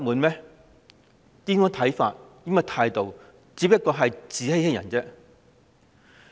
這種看法和態度只是自欺欺人。